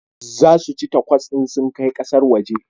Za su ci takos in su kai kasar waje